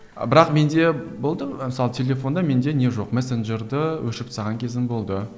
бірақ менде болды мысалы телефонда менде не жоқ мессенджерді өшіріп тастаған кезім болды